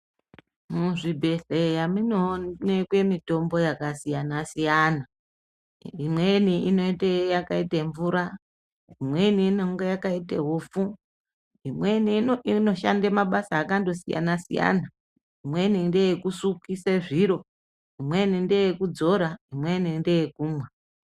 Muzvibhedhleya munoonekwa mitombo yakasiyana siyana. Imweni inoite yakaite mvura, imweni inonga yakaite ipfu , imweni inoshande mabasa akandosiyana siyana, imweni ndeyekusukise zviro, imweni ndeyekudzora, imweni ndeye kumwa.